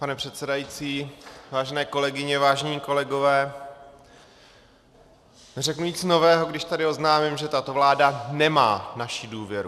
Pane předsedající, vážené kolegyně, vážení kolegové, neřeknu nic nového, když tady oznámím, že tato vláda nemá naši důvěru.